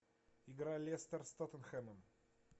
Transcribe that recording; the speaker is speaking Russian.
игра лестер с тоттенхэмом